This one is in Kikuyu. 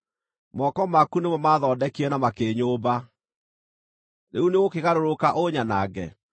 “Moko maku nĩmo maathondekire na makĩnyũmba. Rĩu nĩũgũkĩgarũrũka ũnyanange?